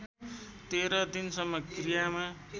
१३ दिनसम्म क्रियामा